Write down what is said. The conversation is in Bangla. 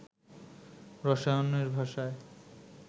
রসায়নের ভাষায়